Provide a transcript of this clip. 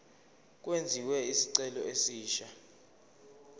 kwenziwe isicelo esisha